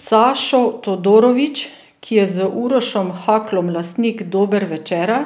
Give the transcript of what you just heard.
Sašo Todorović, ki je z Urošom Haklom lastnik Dober Večera,